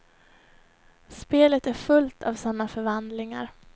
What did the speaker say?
Spelet är fullt av sådana förvandlingar.